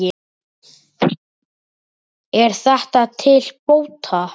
Er þetta til bóta.